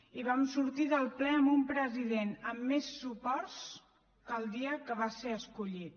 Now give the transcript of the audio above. i vam sortir del ple amb un president amb més suports que el dia que va ser escollit